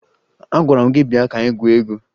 Agwara m gị bịa ka anyị gwuo egwu!